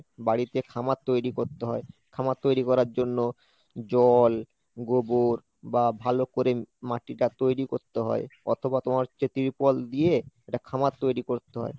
বাড়িতে খামার তৈরি করতে হয়, খামার তৈরি করার জন্য জল, গোবর বা ভালো করে মাটিটা তৈরি করতে হয়, অথবা তোমার যে trial দিয়ে একটা খামার তৈরি করতে হয়।